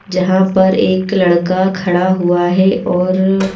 जहां पर एक लड़का खड़ा हुआ है और--